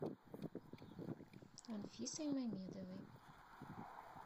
анфисой мамедовой